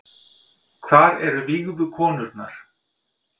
Hvar eru vígðu konurnar